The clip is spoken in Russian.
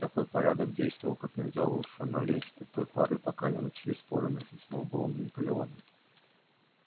такой порядок действовал как нельзя лучше но лишь до той поры пока не начались споры между сноуболлом и наполеоном